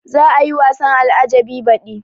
Za a yi wasan al-ajjabi baɗi